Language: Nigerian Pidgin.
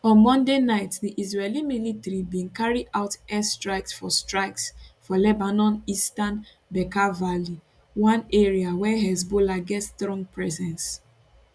on monday night di israeli military bin carry out air strikes for strikes for lebanon eastern bekaa valley one area where hezbollah get strong presence